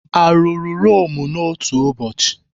Arụrụ Rome n'otu ụbọchị?